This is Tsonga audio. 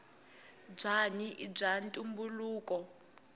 bwanyi ibwaantumbuluko